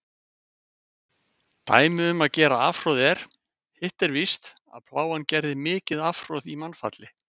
Dæmi um gera afhroð er: Hitt er víst, að Plágan gerði mikið afhroð í mannfalli.